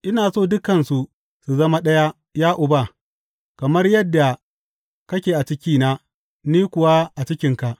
Ina so dukansu su zama ɗaya, ya Uba, kamar yadda kake a cikina, ni kuwa a cikinka.